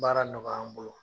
Baara nɔgɔya an bolo